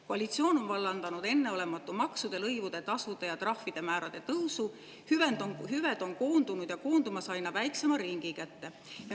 Koalitsioon on vallandanud enneolematu maksude, lõivude, tasude ja trahvide tõusu, hüved on koondunud ja koondumas aina väiksema ringi kätte.